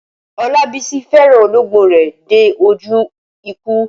Olabisi fẹ́ràn olóńgbò rẹ̀ dé ojú ikú.